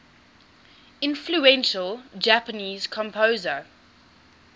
influential japanese composer